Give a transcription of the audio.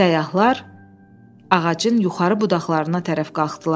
Səyyahlar ağacın yuxarı budaqlarına tərəf qalxdılar.